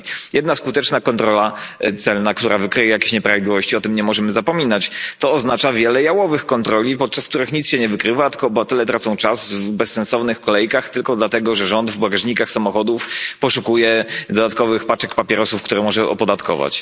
Jedna skuteczna kontrola celna, która wykryje jakieś nieprawidłowości o tym nie możemy zapominać oznacza wiele jałowych kontroli, podczas których niczego się nie wykrywa, tylko obywatele tracą czas w bezsensownych kolejkach, tylko dlatego że rząd w bagażnikach samochodów poszukuje dodatkowych paczek papierosów, które może opodatkować.